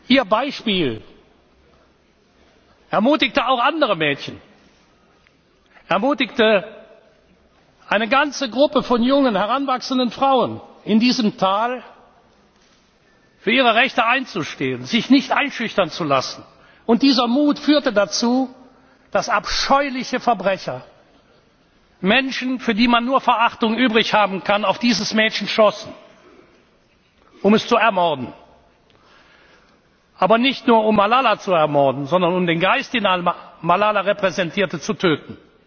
Ihr Beispiel ermutigte auch andere Mädchen, ermutigte eine ganze Gruppe von jungen, heranwachsenden Frauen in diesem Tal, für ihre Rechte einzustehen, sich nicht einschüchtern zu lassen. Und dieser Mut führte dazu, dass abscheuliche Verbrecher, Menschen, für die man nur Verachtung übrig haben kann, auf dieses Mädchen schossen, um es zu ermorden. Aber nicht nur, um Malala zu ermorden, sondern um den Geist, den Malala repräsentierte, zu töten.